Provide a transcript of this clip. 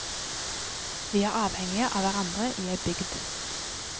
Vi er avhengige av hverandre i ei bygd.